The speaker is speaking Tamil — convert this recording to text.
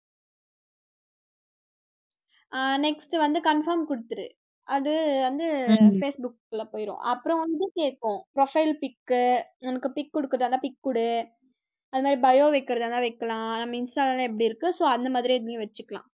அஹ் next வந்து confirm குடுத்திரு, அது வந்து உம் facebook குள்ள போயிடும், அப்பறம் வந்து கேக்கும் profile pick உனக்கு pic குடுக்கறதுன்னா pic குடு, அது மாரி bio வைக்கறதா இருந்தா வைக்கலாம் Insta ல எல்லாம் எப்படி இருக்க so அந்த மாதிரி இதையும் வெச்சுக்கலாம்